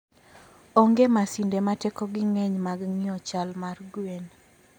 Onge masinde ma tekogi ng'eny mag ng'iyo chal mar gwen.